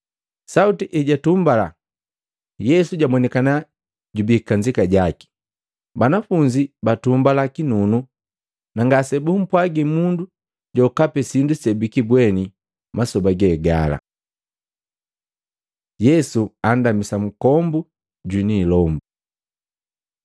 Sauti ejatumbala, Yesu jabonikana jubii kajika jaki. Banafunzi batumbala kinunu na ngasebumpwagi mundu jokapi sindu sebikibweni masoba ge gala. Yesu andamisa nkombu jwini ilombu Matei 17:14-18; Maluko 9:14-27